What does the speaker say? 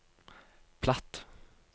platt